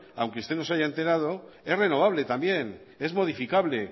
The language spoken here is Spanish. aunque usted no se haya enterado es renovable también es modificable